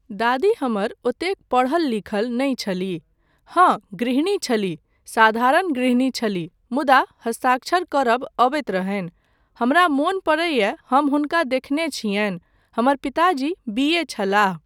दादी हमर ओतेक पढ़ल लिखल नहि छलीह, हाँ गृहणी छलीह, साधारण गृहणी छलीह मुदा हस्ताक्षर करबा अबैत रहनि, हमरा मोन परैया हम हुनका देखने छियनि, हमर पिताजी बी.ए छलाह।